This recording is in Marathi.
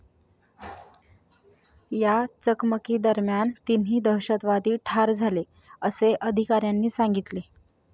या चकमकीदरम्यान तिन्ही दहशतवादी ठार झाले, असे अधिकाऱ्यांनी सांगितले.